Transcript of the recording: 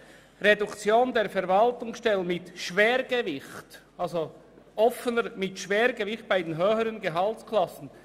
«Reduktion der Verwaltungsstellen mit Schwergewicht bei den höheren Gehaltsklassen».